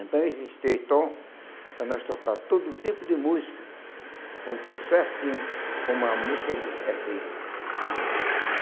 Então existe três tom para nós tocar todo tipo de música, com o tom certinho, como a música é é feita.